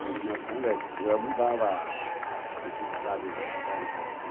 iluminação elétrica, mas ela mudava a, uhum, a intensidade da da claridade.